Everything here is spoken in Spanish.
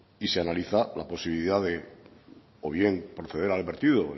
y se analiza la posibilidad de o bien proceder al vertido